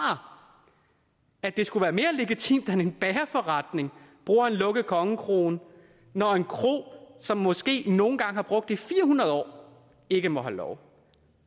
at det skulle være mere legitimt at en bagerforretning bruger en lukket kongekrone når en kro som måske nogle gange har brugt den i fire hundrede år ikke må have lov